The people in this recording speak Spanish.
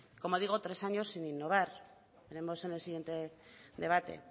como digo tres años sin innovar veremos en el siguiente debate